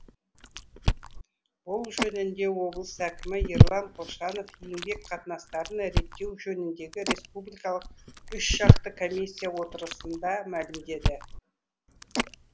бұл жөнінде облыс әкімі ерлан қошанов еңбек қатынастарын реттеу жөніндегі республикалық үшжақты комиссия отырысында мәлімдеді